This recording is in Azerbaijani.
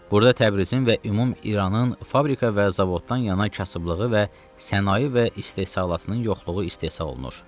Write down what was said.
Burda Təbrizin və ümum İranın fabrika və zavoddan yana kasıblığı və sənaye və istehsalatının yoxluğu istehsal olunur.